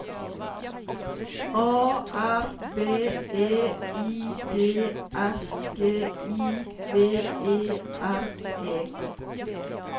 A R B E I D S G I V E R E